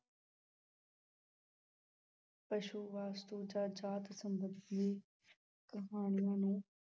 ਪਸੂ, ਵਸਤੂ ਜਾਂ ਜਾਤ ਸੰਬੰਧੀ ਕਹਾਣੀਆਂ ਨੂੰ